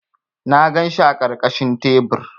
Na ganshi a ƙarƙashin tebur.